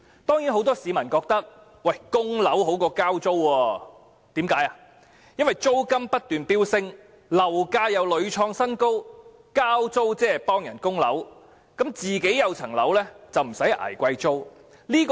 當然，很多市民覺得供樓比交租好，因為租金不斷飆升，樓價又屢創新高，交租即是替人供樓，自己持有物業就不用捱貴租。